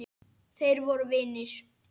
Þeir voru vinir.